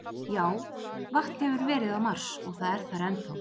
Já, vatn hefur verið á Mars og það er þar enn þá.